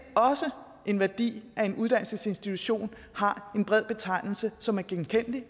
er også en værdi at en uddannelsesinstitution har en bred betegnelse som er genkendelig